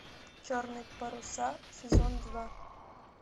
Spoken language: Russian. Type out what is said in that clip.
черные паруса сезон два